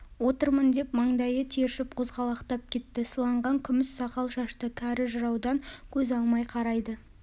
отырмын деп маңдайы тершіп қозғалақтап кетті сыланған күміс сақал-шашты кәрі жыраудан көз алмай қарайды